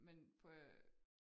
Men på